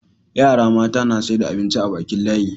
yara mata na saida abinci a Bakin layi